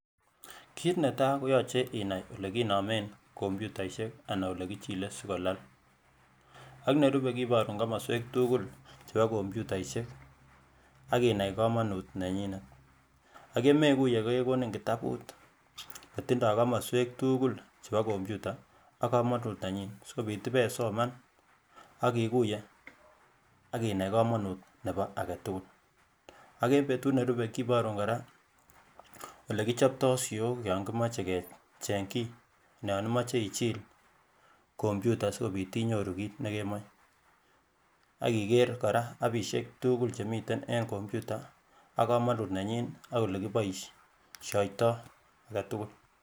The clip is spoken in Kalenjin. kiit netai koyoche inai olekinomen komputaisyek anan ko olekichile asikolal ak nerube kiborun komoswek tukul chebo komputaisyek ak inai komonut nenyinet ak inai komonut nenyinet ak yemekuiye kekonin kitabut netindoi komoswek tukul chebo komputa ak komonut nenyin asikobit ibesoman akikuiye ak inai komonut nebo aketukul ak eng betut nerube kiborun kora olekichoptoi siyok yan kimoche kecheng kiy non imoche ichil komputa asikobit inyoru kiit nekemoche ak iker kora appisiek tukul chemiten eng komputa ak komonut nenyin ak olekiboisyoito aketukul